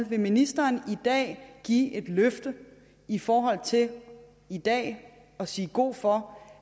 vil ministeren give et løfte i forhold til i dag at sige god for